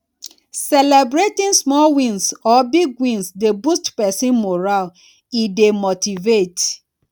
celebrating small wins or big wins dey boost person moral e dey motivate